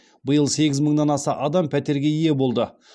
биыл сегіз мыңнан аса адам пәтерге ие болды